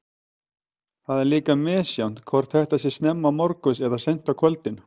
Það er líka misjafnt hvort þetta sé snemma morguns eða seint á kvöldin.